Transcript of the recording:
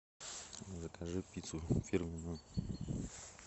закажи пиццу фирменную